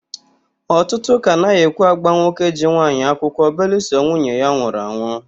Ọtụtụ ụ́kà anaghị ekwe ágbà nwoke ji nwaanyị akwụkwọ belụsọ nwunye ya anwụrụ anwụ.